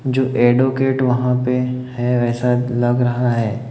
जो एडवोकेट वहां पे है वैसा लग रहा है।